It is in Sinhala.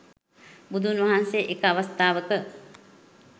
බුදුන් වහන්සේ එක අවස්ථාවක